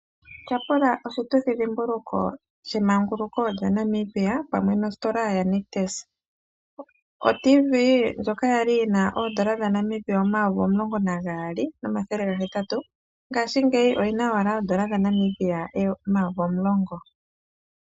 Tyapula oshituthi dhimbuluko shemanguluko lyaNamibia pamwe nositola yaNictus. Otv ndjoka yali yina oondola dhaNamibia omayovi omulongo nagaali nomathele gahetatu ngaashingeyi oyina owala oondola dhaNamibia omayovi omulongo.